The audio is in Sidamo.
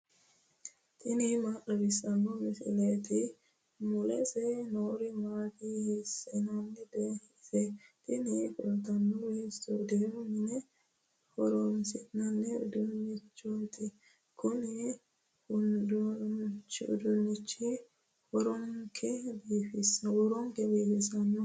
tini maa xawissanno misileeti ? mulese noori maati ? hiissinannite ise ? tini kultannori istuudiyoote mine horoonsi'nanni uduunnichooti kuni uduunnichino huuronke biifisannoho.